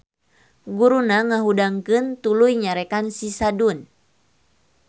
Guruna ngahudangkeun tuluy nyarekan si Sadun.